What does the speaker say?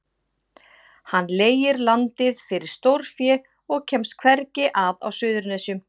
Hann leigir landið fyrir stórfé og kemst hvergi að á Suðurnesjum.